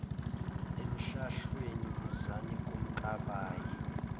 emhlahlweni buzani kumkabayi